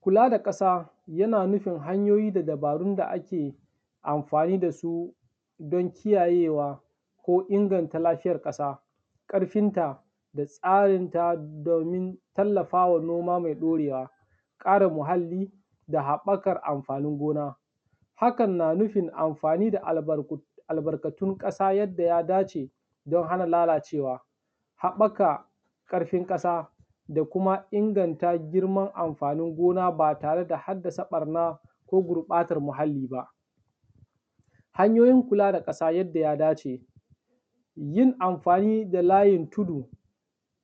Kula da ƙasa yana nufin hanyoyi da dabarun da ake amfani da su don kiyayewa ko inganta lafiyar ƙasa, ƙarfin ta da tsarinta domin tallafawa noma mai ɗorewa. Ƙarin muhalli da haɓɓakar amfanin gona; hakan na nufin amfani da albarkatun ƙasa yadda ya dace don hana lalacewa. Haɓɓaka ƙarfin ƙasa da kuma inganta girman amfanin gona ba tare da haddasa ɓarna ko gurɓatar muhalli ba. Hanyoyin kula da ƙasa yadda ya dace; yin amfani da layin tudu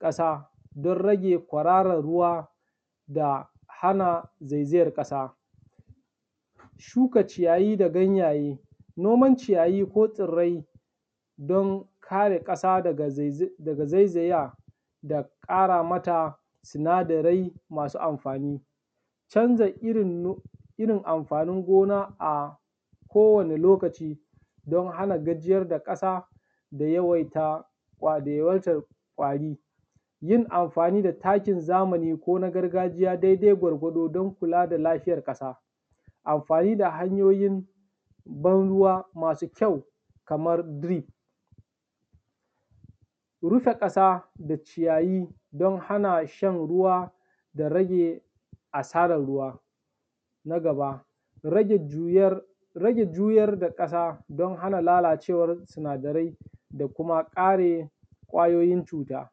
ƙasa don rage kwararan ruwa da hana zaizayar ƙasa. Shuka ciyayi da ganyaye, noman ciyayi ko tsirrai don kare ƙasa daga zaiza daga zaizaya da ƙaramata sinadarai masu amfani. Canza irin amfanin gona a kowane lokaci don hana gajiyar da ƙasa da yawaita ƙwa da yawaitar ƙwari. Yin amfani da takin zamani ko na gargajiya daidai gwargwado don kula da lafiyar ƙasa. Amfani da hanyoyin ban ruwa masu kyau kamar drip. Rufe ƙasa da ciyayi don hana shan ruwa da rage asarar ruwa. Na gaba, rage juyar, rage juyar da ƙasa don hana lalacewar sinadarai da kuma ƙare ƙwayoyin cuta.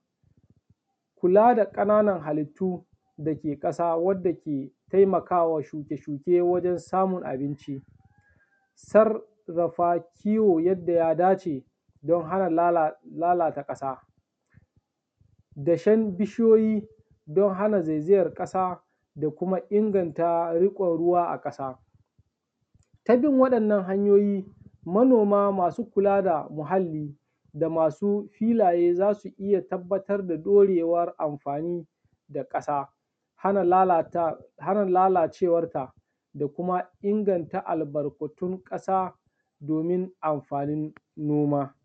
Kula da ƙananan halittu dake ƙasa wadda ke taimakawa shuke-shuke wajen samun abinci, sarrafa kiwo yanda ya dace don hana lala lalata ƙasa, dashen bishiyoyi don hana zaizayar ƙasa da kuma inganta riƙon ruwa a ƙasa. Ta bin waɗannan hanyoyi manoma masu kula muhalli da masu filaye za su iya tabbatar da ɗorewar amfani da ƙasa, hana lalacewarta da kuma inganta albarkatun ƙasa domin amfanin noma